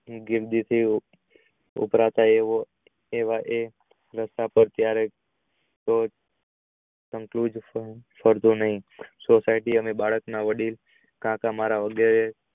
ઉભરાતા એવો એવા એ society અને અમારા વડીલ